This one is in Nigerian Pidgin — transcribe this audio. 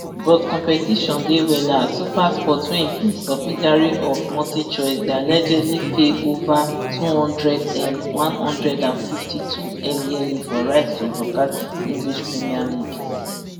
but competition dey wella as supersport wey be subsidiary of multichoice dey allegedly pay ova two hundredm one hundred and fifty-twom yearly for rights to broadcast english premier league